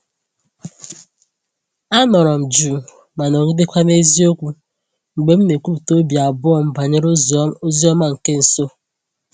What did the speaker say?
Anọrọ m jụụ ma nọgidekwa na eziokwu mgbe m na-ekwupụta obi abụọ m banyere ozi ọma nke nso.